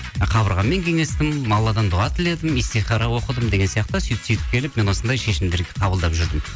ы қабырғаммен кеңестім алладан дұға тіледім истихара оқыдым деген сияқты сөйтіп сөйтіп келіп мен осындай шешімдерді қабылап жүрдім